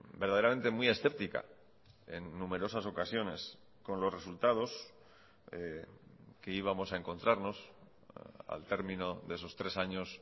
verdaderamente muy escéptica en numerosas ocasiones con los resultados que íbamos a encontrarnos al término de esos tres años